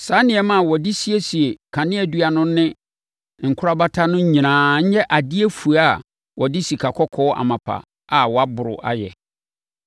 Saa nneɛma a wɔde siesie kaneadua no ne ne nkorabata no nyinaa nyɛ adeɛ fua a wɔde sikakɔkɔɔ amapa a wɔaboro ayɛ.